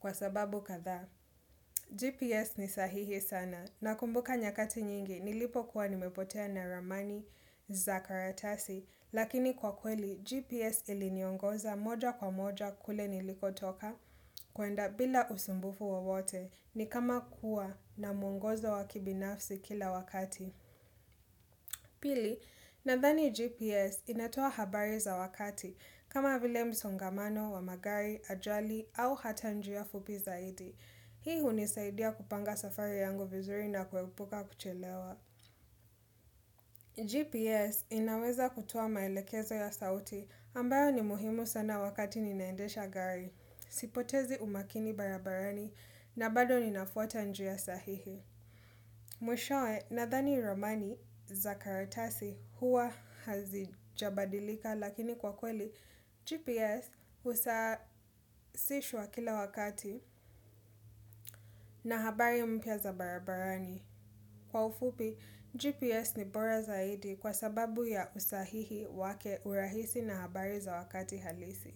kwa sababu kadhaa. GPS ni sahihi sana na kumbuka nyakati nyingi nilipo kuwa nimepotea na ramani za karatasi lakini kwa kweli GPS ili niongoza moja kwa moja kule niliko toka kwenda bila usumbufu wawote ni kama kuwa na mwongozo wakibinafsi kila wakati. Pili, nadhani GPS inatoa habari za wakati kama vile msongamano wa magari, ajali au hata njia fupi zaidi. Hii hunisaidia kupanga safari yangu vizuri na kuepuka kuchelewa. GPS inaweza kutoa maelekezo ya sauti ambayo ni muhimu sana wakati ninaendesha gari, sipotezi umakini barabarani na bado ninafuata njia sahihi. Mwishoe nadhani ramani za karatasi huwa hazijabadilika lakini kwa kweli GPS usasishwa kila wakati na habari mpya za barabarani. Kwa ufupi, GPS ni bora zaidi kwa sababu ya usahihi wake urahisi na habari za wakati halisi.